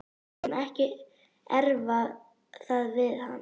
Við skulum ekki erfa það við hann.